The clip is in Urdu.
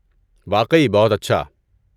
واقعی، بہت اچھا۔